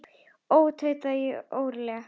Ó, tauta ég óróleg.